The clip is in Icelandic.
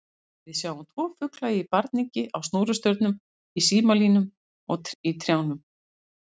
Við sjáum tvo fugla í barningi á snúrustaurum, í símalínum, í trjánum.